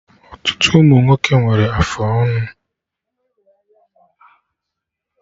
Ọtụtụ ụmụnwoke nwere afụ ọnụ